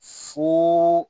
Fo